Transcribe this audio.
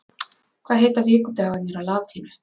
hvað heita vikudagarnir á latínu